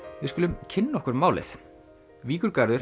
við skulum kynna okkur málið